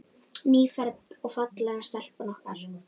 Nýfermd og falleg stelpan okkar.